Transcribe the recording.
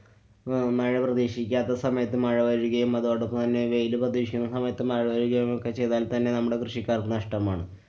അഹ് മഴ പ്രതീക്ഷിക്കാത്ത സമയത്ത് മഴ വരികയും അതോടൊപ്പം തന്നെ വെയില് പ്രതീക്ഷിക്കുന്ന സമയത്ത് മഴ പെയ്യുകയും ഒക്കെ ചെയ്‌താല്‍ തന്നെ നമ്മടെ കൃഷിക്കാര്‍ക്ക് നഷ്ട്ടമാണ്.